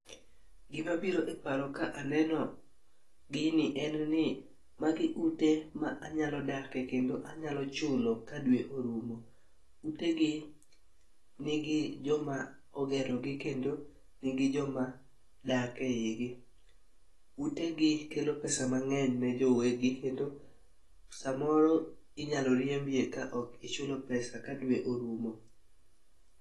Gima biro e paro ka aneno gini en ni magi ute ma anyalo dakie kendo anyalo chulo ka dwe orumo. Utegi nigi joma ogero gi kendo gi joma dak eigi. Utegi kelo kelo pesa mang'eny ne wegi to samoro inyalo riembie kaok ichulo pesa ka dwe orumo.